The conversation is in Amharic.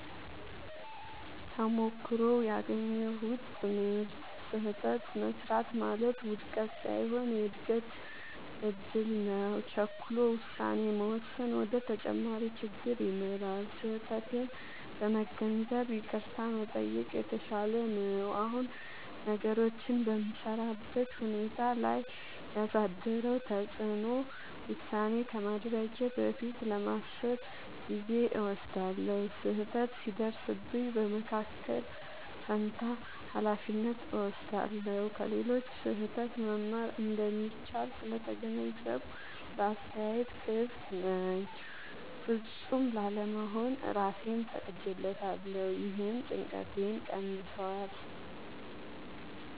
ተሞክሮው ያገኘሁት ትምህርት፦ · ስህተት መሥራት ማለት ውድቀት ሳይሆን የእድገት እድል ነው። · ቸኩሎ ውሳኔ መወሰን ወደ ተጨማሪ ችግር ይመራል። · ስህተቴን በመገንዘብ ይቅርታ መጠየቅ የተሻለ ነው። አሁን ነገሮችን በምሠራበት ሁኔታ ላይ ያሳደረው ተጽዕኖ፦ · ውሳኔ ከማድረጌ በፊት ለማሰብ ጊዜ እወስዳለሁ። · ስህተት ሲደርስብኝ በመከላከል ፋንታ ኃላፊነት እወስዳለሁ። · ከሌሎች ስህተት መማር እንደሚቻል ስለተገነዘብኩ ለአስተያየት ክፍት ነኝ። · ፍጹም ላለመሆን እራሴን ፈቅጄለታለሁ — ይህም ጭንቀቴን ቀንሷል።